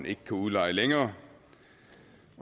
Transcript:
ikke kan udleje længere